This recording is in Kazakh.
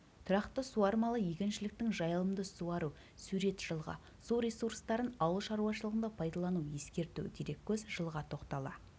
тұрақты суармалы егіншілік жайылымды суару сурет жылғы су ресурстарын ауыл шаруашылығында пайдалану ескерту дереккөз жылға тоқтала